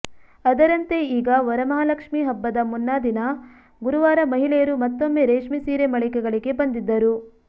ಅದರಂತೆ ಈಗ ವರಮಹಾಲಕ್ಷ್ಮಿ ಹಬ್ಬದ ಮುನ್ನಾದಿನ ಗುರುವಾರ ಮಹಿಳೆಯರು ಮತ್ತೊಮ್ಮೆ ರೇಷ್ಮೆ ಸೀರೆ ಮಳಿಗೆಗಳಿಗೆ ಬಂದಿದ್ದರು